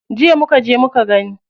Jiya muka je muka gani.